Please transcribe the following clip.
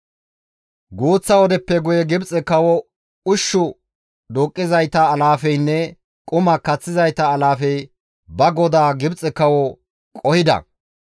Guuththa wodeppe guye Gibxe kawo ushshu duuqqizayta alaafeynne quma kaththizayta alaafey ba godaa Gibxe kawo qohida.